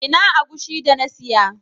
Ina agushi da na siya?